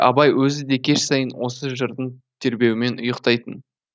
абай өзі де кеш сайын осы жырдың тербеуімен ұйықтайтын